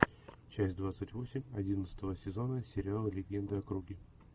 часть двадцать восемь одиннадцатого сезона сериала легенды о круге